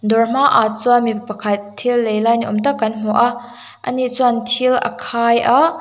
dawr hma ah chuan mipakhat thil lei lai ni awmtak kan hmu a a ni chuan thil a khai a--